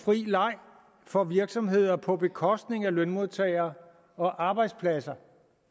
fri leg for virksomheder på bekostning af lønmodtagere og arbejdspladser